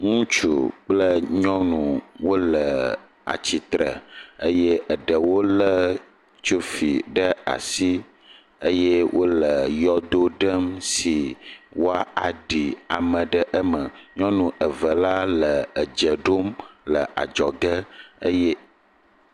ŋutsu kple nyɔnu wóle atsitre eye eɖewo le tsofi ɖa asi eye wóle yɔdo ɖem si wɔ aɖi ame ɖe me nyɔnu eve la le adzɔge edze ɖom eye